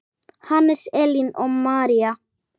Hannes, Elín og María.